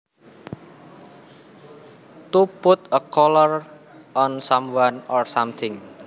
To put a collar on someone or something